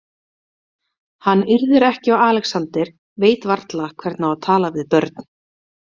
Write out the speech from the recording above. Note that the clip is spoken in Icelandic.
Hann yrðir ekki á Alexander, veit varla hvernig á að tala við börn.